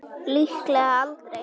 Líklega aldrei.